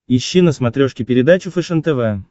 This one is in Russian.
ищи на смотрешке передачу фэшен тв